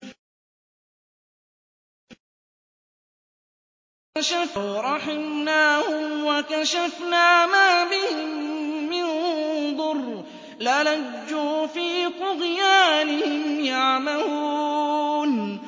۞ وَلَوْ رَحِمْنَاهُمْ وَكَشَفْنَا مَا بِهِم مِّن ضُرٍّ لَّلَجُّوا فِي طُغْيَانِهِمْ يَعْمَهُونَ